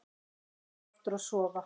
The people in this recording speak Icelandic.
Hún fór aftur að sofa.